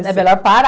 É melhor parar.